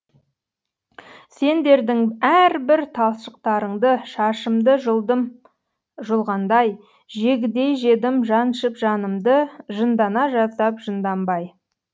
сендердің әрбір талшықтарыңдышашымды жұлдым жұлғандай жегідей жедім жаншып жанымды жындана жаздап жынданбай